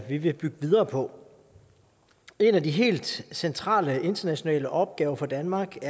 vi vil bygge videre på en af de helt centrale internationale opgaver for danmark det